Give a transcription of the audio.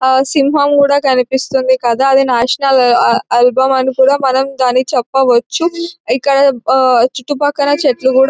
సింహం కూడా కనిపిస్తుంది మనము దాని నేషనల్ ఎంబలం అని చెప్పవచ్చును ఇక్కడ చుట్టుపక్కల చెట్లు కూడా ఉన్నాయి.